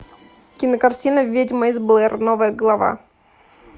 кинокартина ведьма из блэр новая глава